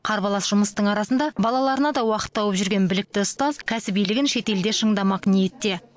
қарбалас жұмыстың арасында балаларына да уақыт тауып жүрген білікті ұстаз кәсібилігін шетелде шыңдамақ ниетте